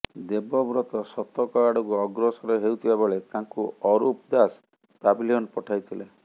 ଦେବବ୍ରତ ଶତକ ଆଡ଼କୁ ଅଗ୍ରସର ହେଉଥିବା ବେଳେ ତାଙ୍କୁ ଅରୁପ ଦାସ ପ୍ୟାଭିଲିୟନ୍ ପଠାଇଥିଲେ